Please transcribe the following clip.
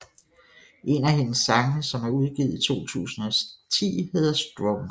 En af hendes sange som er udgivet i 2010 hedder Stronger